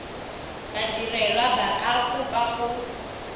badirelwa ba ka kopa go